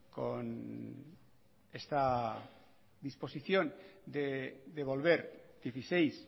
con esta disposición de devolver dieciséis